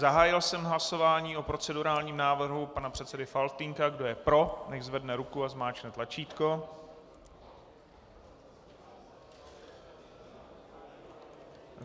Zahájil jsem hlasování o procedurálním návrhu pana předsedy Faltýnka, kdo je pro, nechť zvedne ruku a zmáčkne tlačítko.